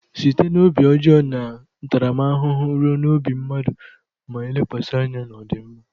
Site na obi ọjọọ na ntaramahụhụ ruo n'obi mmadụ ma lekwasị anya na ọdịmma.